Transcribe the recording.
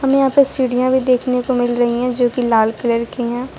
यहां पे सीढ़ियां भी देखने को मिल रही है जो की लाल कलर कि हैं।